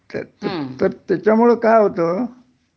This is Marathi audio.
तर तर त्याच्यामुळं काय होत